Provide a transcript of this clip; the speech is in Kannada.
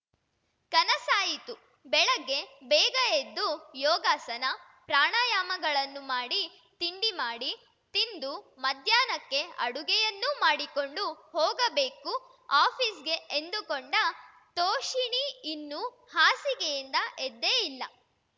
ಕನಸಾಯಿತು ಬೆಳಗ್ಗೆ ಬೇಗ ಎದ್ದು ಯೋಗಾಸನ ಪ್ರಾಣಾಯಾಮಗಳನ್ನು ಮಾಡಿ ತಿಂಡಿ ಮಾಡಿ ತಿಂದು ಮಧ್ಯಾಹ್ನಕ್ಕೆ ಅಡಿಗೆಯನ್ನೂ ಮಾಡಿಕೊಂಡು ಹೋಗಬೇಕು ಆಪೀಸ್‌ಗೆ ಎಂದುಕೊಂಡ ತೋಷಿಣೀ ಇನ್ನೂ ಹಾಸಿಗೆಯಿಂದ ಎದ್ದೇ ಇಲ್ಲ